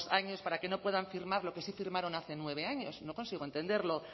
años para que no puedan firmar lo que sí firmaron hace nueve años no consigo entenderlo